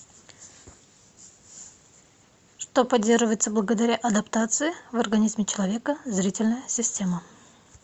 что поддерживается благодаря адаптации в организме человека зрительная система